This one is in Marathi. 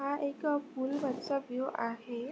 हा एक पूलवरचा व्यू आहे.